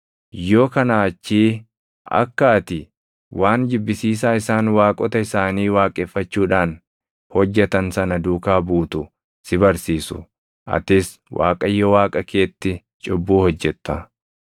Yoo kanaa achii akka ati waan jibbisiisaa isaan waaqota isaanii waaqeffachuudhaan hojjetan sana duukaa buutu si barsiisu; atis Waaqayyo Waaqa keetti cubbuu hojjetta.